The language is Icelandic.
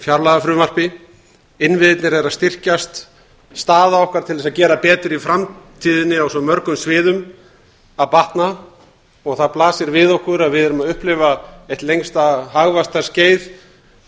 fjárlagafrumvarpi innviðirnir eru að styrkjast staða okkar til þess að gera betur í framtíðinni á svo mörgum sviðum að batna og það blasir við okkur að við erum að upplifa eitt lengsta hagvaxtarskeið